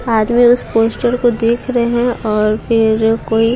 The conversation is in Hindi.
आदमी उस पोस्टर को देख रहे हैं और फिर कोई--